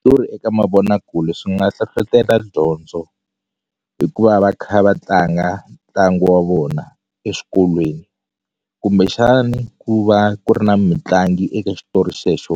Switori eka mavonakule swi nga hlohlotela dyondzo hikuva va kha va tlanga ntlangu wa vona exikolweni kumbexani ku va ku ri na mitlangu eka xitori xexo